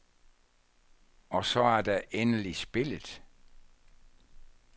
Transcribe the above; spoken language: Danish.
Og så er der endelig spillet.